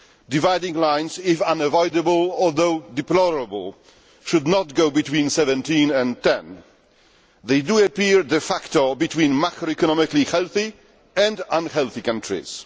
Dividing lines, if unavoidable although deplorable, should not go between the 17 and the 10. They do appear, de facto between macroeconomically healthy and unhealthy countries.